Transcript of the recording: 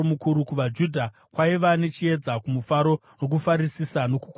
KuvaJudha kwaiva nechiedza, nomufaro nokufarisisa nokukudzwa.